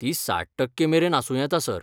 ती साठ टक्के मेरेन आसूं येता, सर.